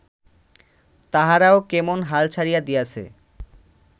তাহারাও কেমন হাল ছাড়িয়া দিয়াছে